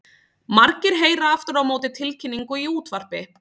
Margir heyra aftur á móti tilkynningu í útvarpi.